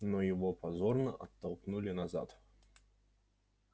но его позорно оттолкнули назад